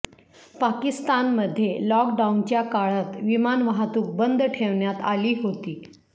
पाकिस्तानमध्ये लॉकडाउनच्या काळात विमान वाहतूक बंद ठेवण्यात आली होती